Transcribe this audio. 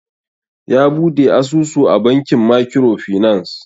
Ya Buɗe asusu a bankin makiro finas